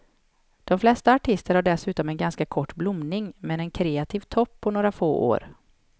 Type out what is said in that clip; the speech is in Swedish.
De flesta artister har dessutom en ganska kort blomning, med en kreativ topp på några få år.